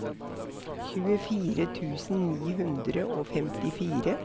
tjuefire tusen ni hundre og femtifire